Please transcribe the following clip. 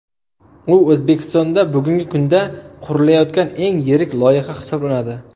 U O‘zbekistonda bugungi kunda qurilayotgan eng yirik loyiha hisoblanadi.